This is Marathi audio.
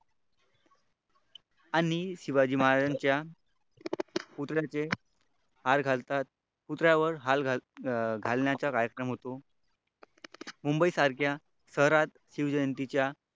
आणि शिवाजी महाराजांच्या पुतळ्याचे पुतळ्यावर हार घालण्याचा कार्यक्रम होतो. मुंबई सारख्या शहरात शिवजयंतीच्या